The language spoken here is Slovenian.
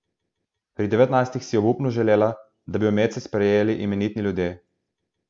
Pri devetnajstih si je obupno želela, da bi jo medse sprejeli imenitni ljudje.